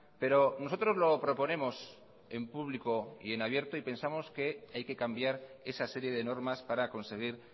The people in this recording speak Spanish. pero nosotros lo proponemos en público y en abierto y pensamos que hay que cambiar esa serie de normas para conseguir